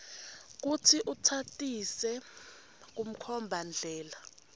kutsi utsatsise kumkhombandlela